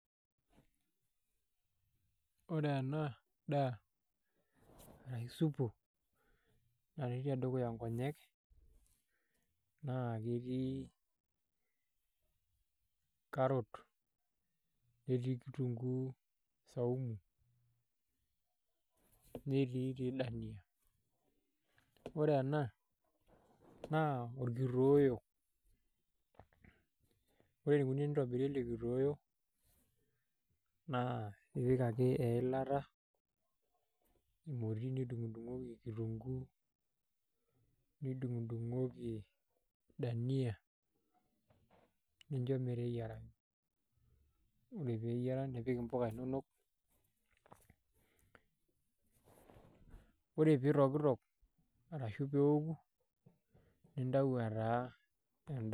Ore ena daa arashu supu natii tedukuya nkonyek naa ketii carrot netii kitunguu saumu netii tii dania ore ena naa orkitoeo ore enikoni tenitobiri ele kitoeo naa ipik ake eilata emoti nidung'udung'oki kitunguu nidung'udung'oki dania nincho meteyiarayu ore pee eyiara nipik mpuka inonok ore piitokitok arashu pee eoku nintau etaa endaa.